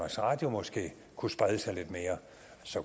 radio måske kunne sprede sig lidt mere